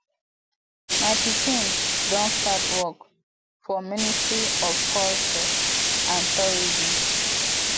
my pikin don start work for ministry of culture and tourism